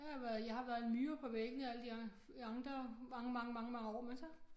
Jeg har været jeg har været en myre på væggene og alle de andre mange mange mange år men så